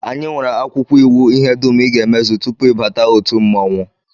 Anyị nwere akwụkwọ iwu ihe dum I ga-emezu tupu ị bata otu mmọnwụ